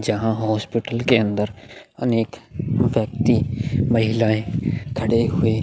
जहाँ हॉस्पिटल के अंदर अनेक व्यक्ति महिलाएं खड़े हुए --